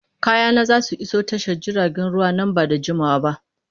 Kayana za su iso tashar jiragen ruwa nan ba da jimawa ba.